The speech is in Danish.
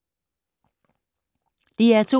DR2